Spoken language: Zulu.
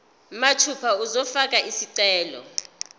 mathupha uzofaka isicelo